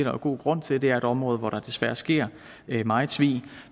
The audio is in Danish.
jo god grund til det er et område hvor der desværre sker meget svig